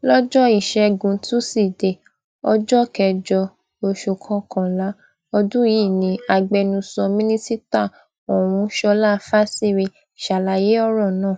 lọjọ ìṣẹgun tusidee ọjọ kẹjọ oṣù kọkànlá ọdún yìí ni agbẹnusọ mínísítà ọhún sọlá fásiré ṣàlàyé ọrọ náà